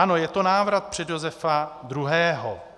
"Ano, je to návrat před Josefa II.